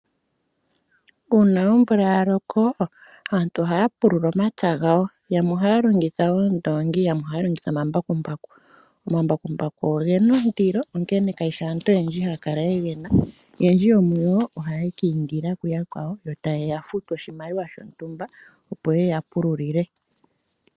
Uuna omvula yaloko aantu ohaya pulula omapya gawo, yamwe ohaya longitha oondoongi, yamwe longitha omambakumbaku . Omambakumbaku ogena ondilo, onkene kayishi aantu haya kala yegana. Oyendji yomuyo ohaye keyi indila kuyakwayo yo taye yafutu oshimaliwa shontumba opo yeye yeya pululile.